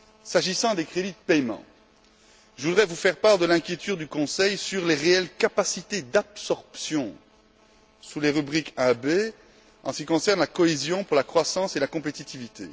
S'agissant des crédits de paiement, je voudrais vous faire part de l'inquiétude du Conseil sur les réelles capacités d'absorption sous les rubriques 1b, en ce qui concerne la cohésion pour la croissance et la compétitivité.